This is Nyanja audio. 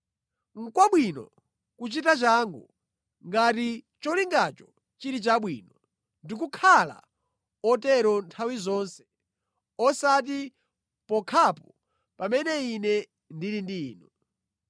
Nʼkwabwino kuchita changu, ngati cholingacho chili chabwino ndi kukhala otero nthawi zonse osati pokhapo pamene ine ndili ndi inu.